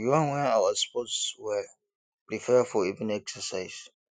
we wan wear our sports wear prepare for evening exercise